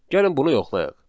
Gəlin bunu yoxlayaq.